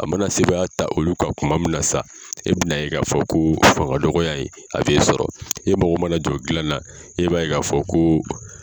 A mana sebaya ta olu kan kuma min na sa e bi n'a ye k'a fɔ ko ye fangadɔgɔya ye a bɛ sɔrɔ e mago mana jɔ dila na e b'a fɔ ko.